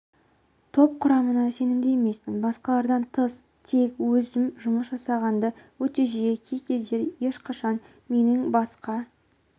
топ құрамында сенімді емеспін басқалардан тыс тек өзім жұмыс жасағанды өте жиі кей-кездері ешқашан менің басқа